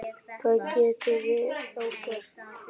Hvað getum við þá gert?